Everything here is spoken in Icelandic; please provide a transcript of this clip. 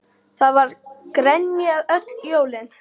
Það var grenjað öll jólin.